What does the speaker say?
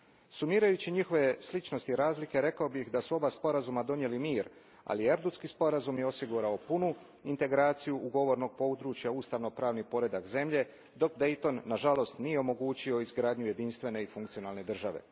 Sumirajući njihove sličnosti i razlike rekao bih da su oba sporazuma donijeli mir, ali Erdutski je sporazum osigurao punu integraciju govornog područja, ustavno pravni poredak zemlje, dok Dayton nažalost nije omogućio izgradnju jedinstvene i funkcionalne države.